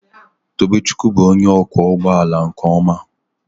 Tobechukwu bụ onye ọkwọ ụgbọ ala nke ọma